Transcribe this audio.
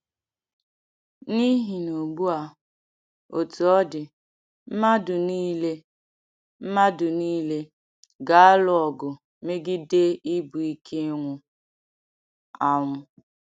N’ihi na ugbụ a, otu ọ dị, mmadụ nile mmadụ nile ga-alụ ọgụ megide ibu nke ịnwụ anwụ.